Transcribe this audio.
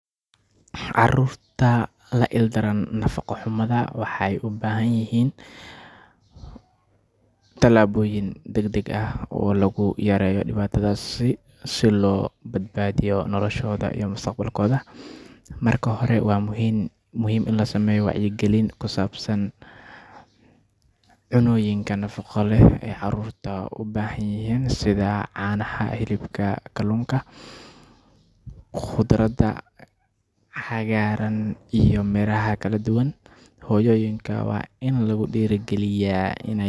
Nafaqa xumada carruurta waxay la xiriirtaa dhibaatoyin caafimaad, korriin xumo, iyo mustaqbalka carruurta. Si loo yareeyo dhibaatada nafaqa xumada, waxaa muhiim ah in la qaado tallaabooyin dhowr ah. Marka hore waa in carruurta helaan cunnooyin nafaqo leh oo muhiim u ah korriinkooda iyo caafimaadkooda. Cunnooyinka sida canaha, hilibka, kaluunka, qudaar cagaaran, iyo miro kala duwan ayaa muhiim u ah nafaqada carruurta. Labaad waa in waalidiinta iyo bulshada lagu wacyigeliyo muhiimadda nafaqada